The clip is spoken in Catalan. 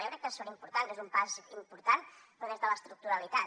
jo crec que són importants que és un pas important però des de l’estructuralitat